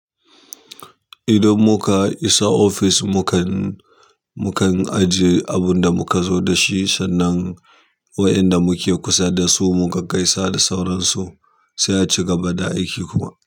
Idan muka isa office, mukan, mukan ajiye abunda muka zo dashi sannan wayanda muke kusa dasu mu gaggaisa da sauransu sai a cigaba da aiki kuma.